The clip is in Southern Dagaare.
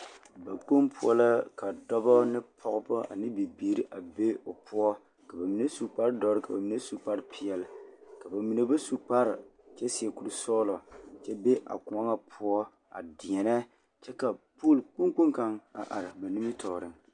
Bakpoŋ poɔ la ka dɔbɔ ne pɔɡebɔ ne bibiiri be o poɔ ka ba mine su kpardɔre ka mine su kparpeɛle ka ba mine ba su kpar kyɛ seɛ kursɔɔlɔ kyɛ be a kõɔ ŋa poɔ a deɛnɛ kyɛ ka pool kpoŋkpoŋ kaŋ a are ba nimitɔɔreŋ.